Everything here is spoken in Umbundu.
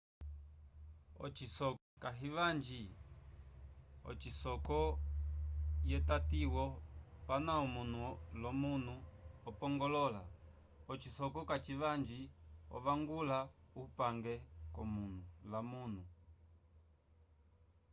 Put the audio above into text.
ocisoko kahivanji osisoko ye tatiwo pana omuno lo muno opongolola ocisoko kacivanji ovangula upange ko muno la muno